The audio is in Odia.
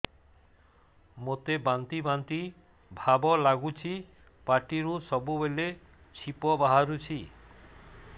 ମୋତେ ବାନ୍ତି ବାନ୍ତି ଭାବ ଲାଗୁଚି ପାଟିରୁ ସବୁ ବେଳେ ଛିପ ବାହାରୁଛି